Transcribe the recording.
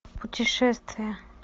путешествия